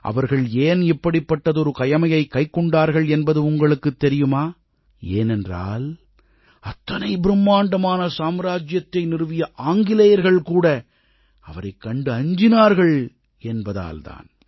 அவர்கள் ஏன் இப்படிப்பட்டதொரு கயமையைக் கைக்கொண்டார்கள் என்பது உங்களுக்குத் தெரியுமா ஏனென்றால் அத்தனை பிரம்மாண்டமான சாம்ராஜ்ஜியத்தை நிறுவிய ஆங்கிலேயர்கள் கூட அவரைக் கண்டு அஞ்சினார்கள் என்பதால் தான்